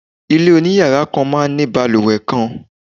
Ilé oniyara kàn máa ń ní baluwe kan